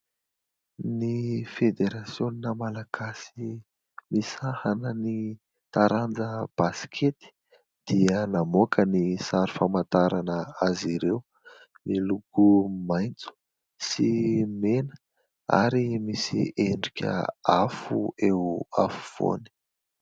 Ny federasiona Malagasy misahana ny taranja baskety dia namoaka ny sary famantarana azy ireo ; miloko maitso sy mena ary misy endrika afo eo afovoany.